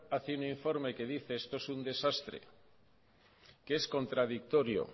hace un informe que dice esto es un desastre que es contradictorio